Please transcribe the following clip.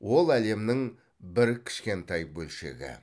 ол әлемнің бір кішкентай бөлшегі